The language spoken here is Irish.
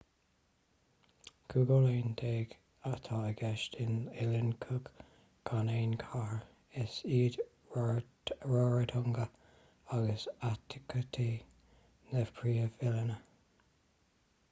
cúig oileán déag atá i gceist in oileáin cook gan aon chathair is iad rarotonga agus aitutaki na príomh-oileáin